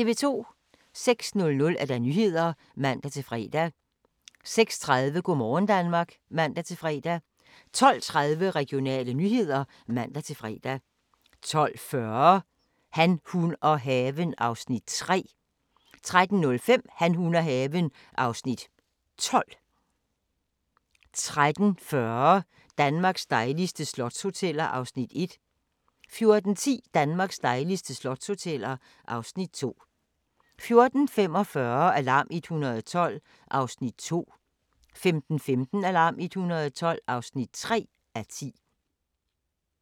06:00: Nyhederne (man-fre) 06:30: Go' morgen Danmark (man-fre) 12:30: Regionale nyheder (man-fre) 12:40: Han, hun og haven (Afs. 3) 13:05: Han, hun og haven (Afs. 12) 13:40: Danmarks dejligste slotshoteller (Afs. 1) 14:10: Danmarks dejligste slotshoteller (Afs. 2) 14:45: Alarm 112 (2:10) 15:15: Alarm 112 (3:10) 15:50: Razzia (man-tor)